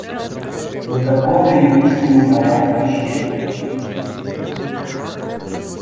но таков ли истинный порядок вещей